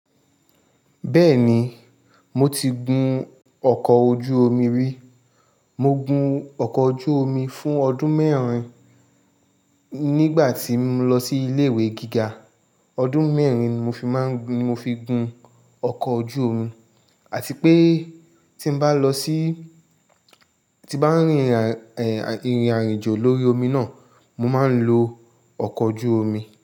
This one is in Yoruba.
Bẹ́ẹ̀ni, mo ti gun ọkọ̀ ojú omi rí. Mo gun ọkọ̀ ojú omi fún ọdún mẹ́rin nígbà tí mo lọ sí ilé ìwé gíga. Ọdún mẹ́rin ni mo fi máa ń gún, ni mo fi gun ọkọ̀ ojú omi, àti pé tí bá lọ sí, tí bá rìn, èèh, ìrìn àjò lórí omi náà, mo máa ń lo ọkọ̀ ojú omi.